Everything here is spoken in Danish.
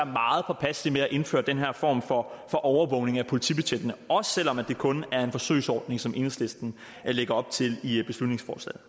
meget påpasselige med at indføre den her form for overvågning af politibetjente også selv om det kun er en forsøgsordning som enhedslisten lægger op til i beslutningsforslaget